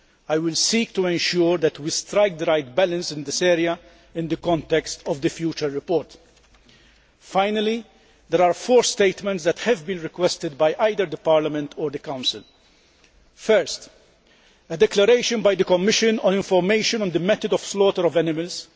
I will seek to ensure that we strike the right balance in this area in the context of the future report. Finally, there are four statements that have been requested by either the Parliament or the Council firstly, a declaration by the Commission on information on the method of slaughter of animals.